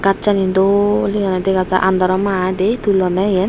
gajchani dol he hoide dega jai aandaro ma i de tullonne iyen.